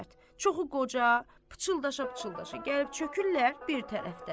Çoxu qoca, pıçıldaşa-pıçıldaşa gəlib çökürlər bir tərəfdə.